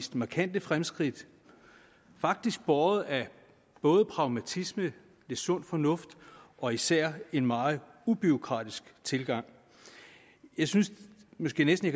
markante fremskridt faktisk båret af både pragmatisme lidt sund fornuft og især en meget ubureaukratisk tilgang jeg synes måske næsten at